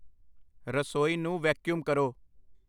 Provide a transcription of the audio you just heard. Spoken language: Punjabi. ਰਸੋਈ ਨੂੰ ਵੈਕਯੁਮ ਕਰੋ